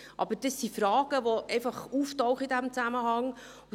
Aber das sind Fragen, die in diesem Zusammenhang einfach auftauchen.